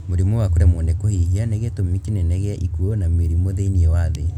Mũrimũ wa kũremwo nĩ kũhihia nĩ gĩtũmi kĩnene gĩa ikuũ na mĩrimũ thĩiniĩ wa thĩ